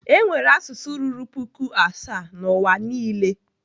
Enwere asụsụ ruru puku asaa na N'uwa niile.